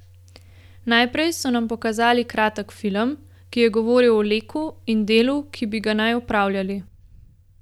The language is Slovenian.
Najprej so nam pokazali kratek film, ki je govoril o Leku in delu, ki bi ga naj opravljali.